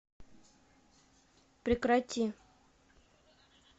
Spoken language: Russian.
прекрати